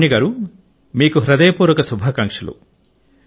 లావణ్య గారు మీకు హృదయపూర్వక శుభాకాంక్షలు